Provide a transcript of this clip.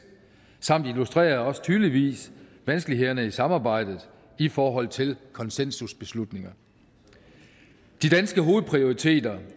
samt illustrerer tydeligt vanskelighederne i samarbejdet i forhold til konsensusbeslutninger de danske hovedprioriteter